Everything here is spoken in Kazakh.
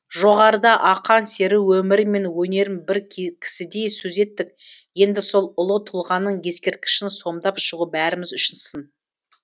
жоғарыда ақан сері өмірі мен өнерін бір кісідей сөз еттік енді сол ұлы тұлғаның ескерткішін сомдап шығу бәріміз үшін сын